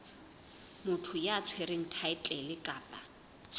motho ya tshwereng thaetlele kapa